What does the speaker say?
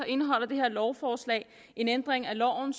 indeholder det her lovforslag en ændring af loven